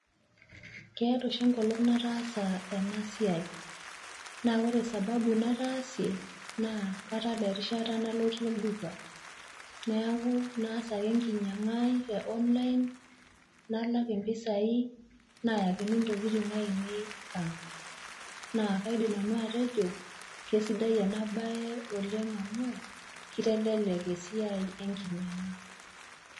Keeta oshi enkolong' nataasa ena siai, naa ore sababu nataasie naa katala erishata nalotie  olduka neaku naas ake enkinyang'aai te online nalak impisai nayakini ntokitin ainei ang' naa kaidim nanu atejo keisidai ena baye oleng' amu keitelelek esiai enkinyang'a.